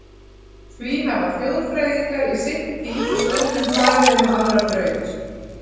Því hafa þjóðfræðingar í seinni tíð stundum farið inn á aðra braut.